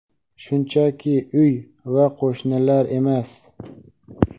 shunchaki uy va qo‘shnilar emas.